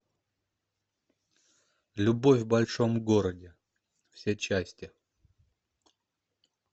любовь в большом городе все части